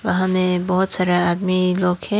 वहां में बहुत सारा आदमी लोग हैं।